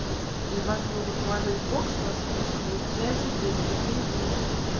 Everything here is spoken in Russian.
и вас могут положить в бокс на сутки без связи без еды без ну